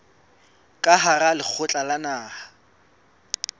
ka hara lekgotla la naha